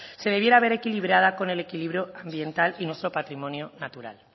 se debiera ver equilibrada con el equilibrio ambiental y nuestro patrimonio natural